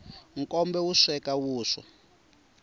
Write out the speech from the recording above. nkombe wu sweka vuswa